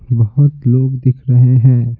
बहुत लोग दिख रहे हैं।